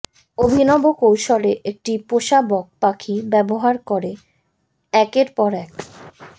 অভিনব কৌশলে একটি পোষা বক পাখি ব্যবহার করে একের পর এক